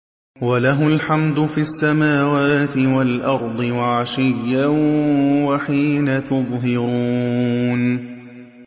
وَلَهُ الْحَمْدُ فِي السَّمَاوَاتِ وَالْأَرْضِ وَعَشِيًّا وَحِينَ تُظْهِرُونَ